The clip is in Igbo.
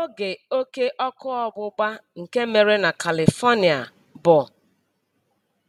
Oge óké ọ́kụ́ ọgbụgba nke mere na Kalifonia bụ